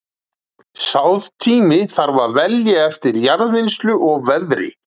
Sáðtíma þarf að velja eftir jarðvinnslu og veðri.